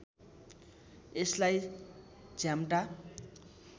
यसलाई झ्याम्टा